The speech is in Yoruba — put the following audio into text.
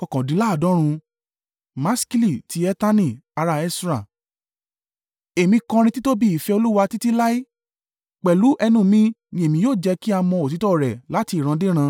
Maskili ti Etani ará Esra. Èmi kọrin títóbi ìfẹ́ Olúwa títí láé; pẹ̀lú ẹnu mi ní èmi yóò jẹ́ kí a mọ òtítọ́ rẹ láti ìran dé ìran.